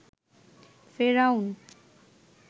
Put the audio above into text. ফেরাউন